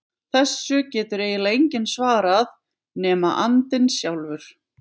Þessu getur eiginlega enginn svarað nema andinn sjálfur.